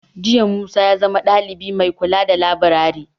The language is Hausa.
Jiya Musa ya zama dalibi mai kula da laburare.